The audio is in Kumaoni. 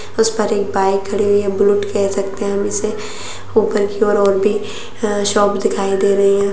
उस पर एक बाइक खड़ी हुई है बुलेट का सकते हैं हम इसे ऊपर की ओर और भी अ-शॉप दिखाई दे रही है ।